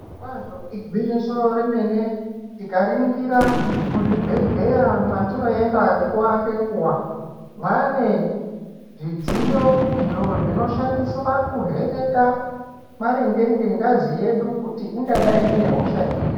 Zviro kwazvo igwinyiso remene tikaringira muzvibhedhlera mwatinoenda nguwa ngenguwa mwaanezvidziyo izvo zvinoshandiswa kuvheneka maringe ngengazi yedu kuti ingadai inehosha irini